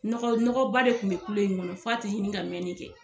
Nɔgɔ nɔgɔ ba de kun bɛ kulo in kɔnɔ f' a tɛ ɲini ka mɛnni kɛ.